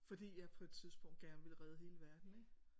Fordi jeg på et tidspunkt gerne ville redde hele verden ik?